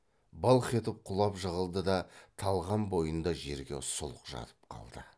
былқ етіп құлап жығылды да талған бойында жерде сұлқ жатып қалды